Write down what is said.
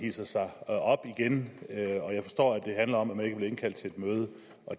hidser sig op igen jeg forstår at det handler om at man ikke er blevet indkaldt til et møde